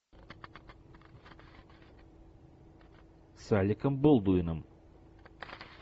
с алеком болдуином